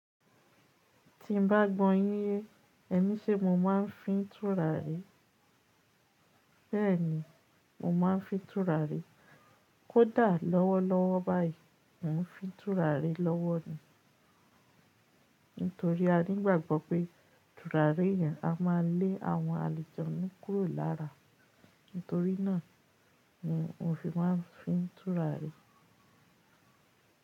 Tí n bá gbọ́ yín yé, èni ṣe mo máa ń fi tùràrí? Bẹ́ẹ̀ni, mo máa ń fin tùràrí. Kódà lọ́wọ́ lọ́wọ́ báyìí, mò ń fin tùràrí lọ́wọ́ ni. Nítorí a ní ìgbàgbọ́ pé tùràrí yẹn a máa lé àwọn alujonnu kúrò lára. Nítorí náà ni mo fi máa ń fin tùràrí.